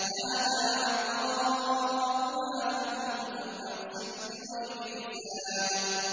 هَٰذَا عَطَاؤُنَا فَامْنُنْ أَوْ أَمْسِكْ بِغَيْرِ حِسَابٍ